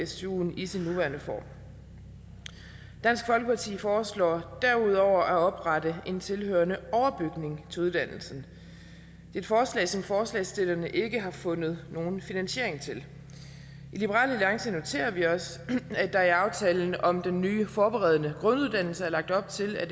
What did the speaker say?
stuen i sin nuværende form dansk folkeparti foreslår derudover at oprette en tilhørende overbygning til uddannelsen et forslag som forslagsstillerne ikke har fundet nogen finansiering til i liberal alliance noterer vi os at der i aftalen om den nye forberedende grunduddannelse er lagt op til at